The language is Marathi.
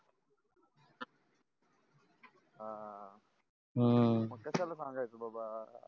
आ हम्म मग कसायला सांगायचं बाबा